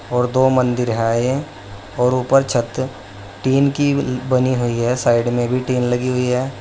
और दो मंदिर है और ऊपर छत टीन की बनी हुई है साइड में भी टीन लगी हुई है।